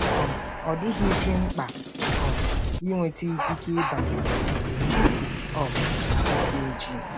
um Ọ dịghịzi mkpa um ịnweta ikike ịbanye n'obodo ndị um isi ojii.